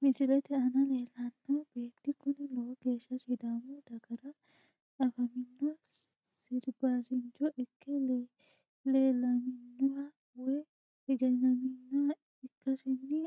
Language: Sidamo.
Misilete aana leelano beeti kuni lowo geesha sidaamu dagara afamino sirbasincho ikke leelaminoha woyi egenaminoha ikasini